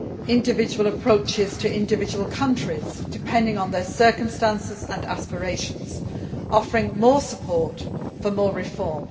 individual approaches to individual countries depending on circumstances and aspirations and offering more support for more reform.